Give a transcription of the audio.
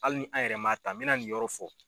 Hali ni an yɛrɛ man ta n bɛ na nin yɔrɔ fɔ